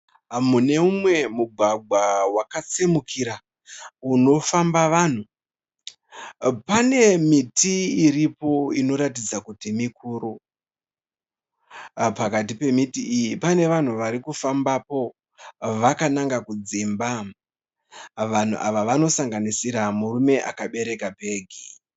Muneimwe mugwagwa wakatsimukira inofamba vanhu. Pane miti iripo inoratidza kuti mikuru. Pakati pemuti iyi pane vanhu varikufambapo vakananga kudzimba. Vanhu ava vanosanganisira murume akabereka bhegi.